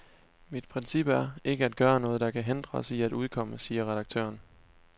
Mit princip er, ikke at gøre noget, der kan hindre os i at udkomme, siger redaktøren.